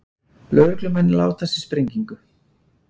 Lögreglumenn látast í sprengingu